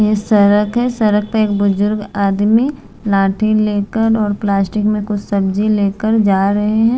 ये सरक है सरक पे एक बुजुर्ग आदमी लाठी लेकर और प्लास्टिक में कुछ सब्जी लेकर जा रहे हैं।